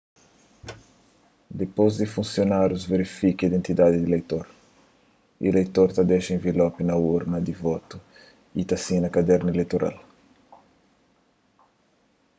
dipôs di funsionárius verifika identidadi di ileitor ileitor ta dexa envelopi na urna di votu y ta sina kadernu ileitoral